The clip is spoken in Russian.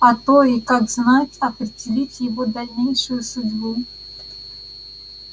а то и как знать определить его дальнейшую судьбу